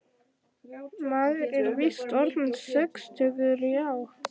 Maður er víst orðinn sextugur, já.